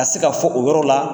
se ka fɔ o yɔrɔ la.